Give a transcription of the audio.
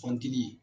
Kɔnti